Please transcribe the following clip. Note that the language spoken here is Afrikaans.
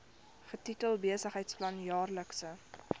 getitel besigheidsplan jaarlikse